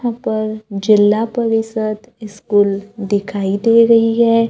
ऊपर जिला परिषद स्कूल दिखाई दे रही है।